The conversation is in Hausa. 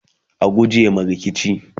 a guje ma rikici!